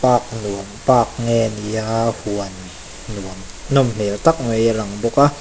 park nuam park nge ni a huan nuam nawm hmel tak mai a lang bawk a.